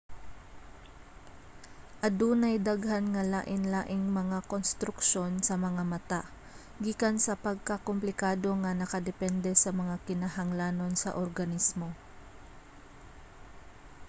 adunay daghan nga lain-laing mga konstruksyon sa mga mata gikan sa pagkakomplikado nga nakadepende sa mga kinahanglanon sa organismo